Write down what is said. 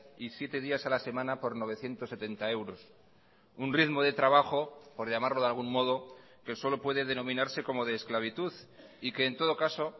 y siete días a la semana por novecientos setenta euros un ritmo de trabajo por llamarlo de algún modo que solo puede denominarse como de esclavitud y que en todo caso